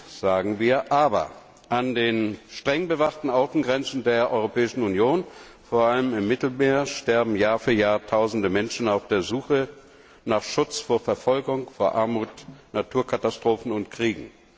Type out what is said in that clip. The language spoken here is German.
Gut, sagen wir, aber an den streng bewachten Außengrenzen der Europäischen Union, vor allem im Mittelmeer, sterben Jahr für Jahr Tausende Menschen auf der Suche nach Schutz vor Verfolgung, vor Armut, Naturkatastrophen und Kriegen.